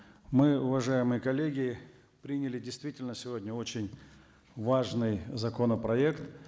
мы уважаемые коллеги приняли действительно сегодня очень важный законопроект